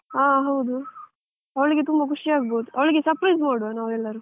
ಹ ಹೌದು. ಅವಳಿಗೆ ತುಂಬ ಖುಷಿ ಆಗ್ಬಹುದು ಅವಳಿಗೆ surprise ಕೊಡುವ ನಾವೆಲ್ಲರು.